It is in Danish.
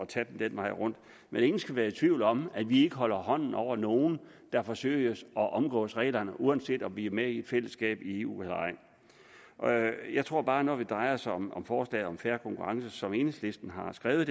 tage det den vej rundt men ingen skal være i tvivl om at vi holder hånden over nogen der forsøger at omgå reglerne uanset om vi er med i et fællesskab i eu eller ej jeg tror bare at når det drejer sig om om forslaget om fair konkurrence som enhedslisten har skrevet